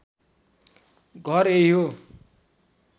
घर यही हो